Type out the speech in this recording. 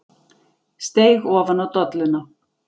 Steig ofan á dolluna.